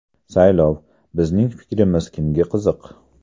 Saylov: bizning fikrimiz kimga qiziq?.